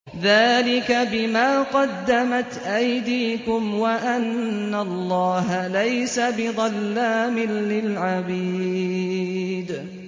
ذَٰلِكَ بِمَا قَدَّمَتْ أَيْدِيكُمْ وَأَنَّ اللَّهَ لَيْسَ بِظَلَّامٍ لِّلْعَبِيدِ